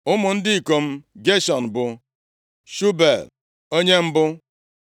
Ụmụ ndị ikom Geshọm bụ Shubuel, onye mbụ.